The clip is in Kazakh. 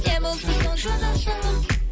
не болса соны жаза салып